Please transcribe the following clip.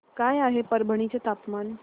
काय आहे परभणी चे तापमान